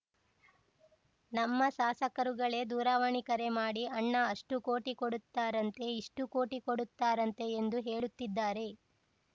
ನಮ್ಮ ಶಾಸಕರುಗಳೇ ದೂರವಾಣಿ ಕರೆ ಮಾಡಿ ಅಣ್ಣಾ ಅಷ್ಟುಕೋಟಿ ಕೊಡುತ್ತಾರಂತೆ ಇಷ್ಟುಕೋಟಿ ಕೊಡುತ್ತಾರಂತೆ ಎಂದು ಹೇಳುತ್ತಿದ್ದಾರೆ